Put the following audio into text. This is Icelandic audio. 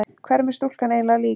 Hverjum er stúlkan eiginlega lík?